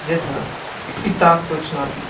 где то коопе так точно